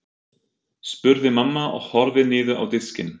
spurði mamma og horfði niður á diskinn.